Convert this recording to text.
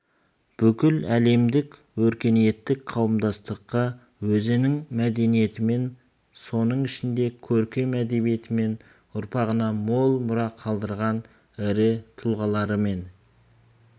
бүкіл әлемдік өркениеттік қауымдастыққа өзінің мәдениетімен соның ішінде көркем әдебиетімен ұрпағына мол мұра қалдырған ірі тұлғаларымен